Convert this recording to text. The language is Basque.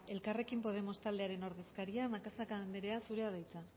elkarrekin podemos taldearen ordezkaria macazaga andrea zurea da hitza